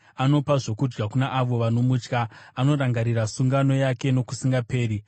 Anopa zvokudya kuna avo vanomutya; anorangarira sungano yake nokusingaperi.